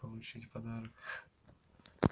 получить подарок